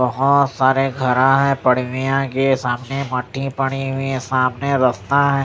बहोत सारे घर है के सामने मट्टी पड़ी हुई है सामने रास्ता है।